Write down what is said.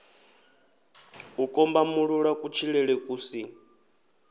u kombamulula kutshilele ku si